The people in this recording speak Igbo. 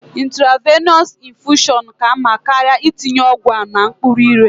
Intravenọs infushọn ka mma karịa itinye ọgwụ a n'okpuru ire.